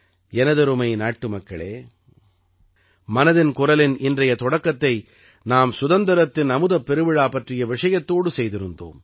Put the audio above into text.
எனதருமை நாட்டுமக்களே மனதின் குரலின் இன்றைய தொடக்கத்தை நாம் சுதந்திரத்தின் அமுதப் பெருவிழா பற்றிய விஷயத்தோடு செய்திருந்தோம்